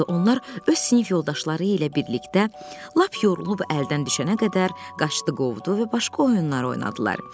Onlar öz sinif yoldaşları ilə birlikdə lap yorulub əldən düşənə qədər qaçdı qovdu və başqa oyunları oynadılar.